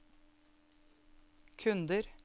kunder